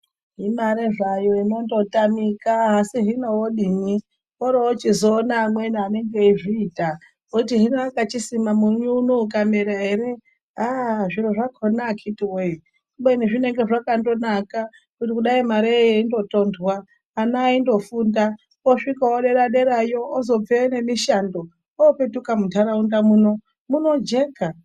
Imare zvayo inondotamika asi hino wodini. Woorochizoona amweni anenge eizviita woti hino akachisima munyu uno ikamera here ah zviro zvakona akiti wee. Kubeni zvinenge zvakandonaka kuti dai mareyo yeindotondwa, ana aindofunda, osvikawo dera-derayo. Ozobveyo nemishando. Oopetuka muntaraunda muno, munojeka.